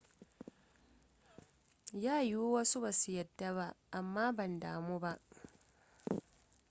ya wiyu wasu ba za su yadda ba amma ban damu ba